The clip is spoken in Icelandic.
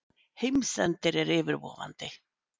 Heimsendir er yfirvofandi.